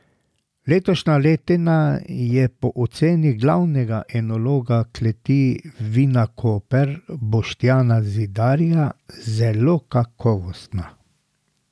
Letošnja letina je po oceni glavnega enologa kleti Vinakoper Boštjana Zidarja zelo kakovostna.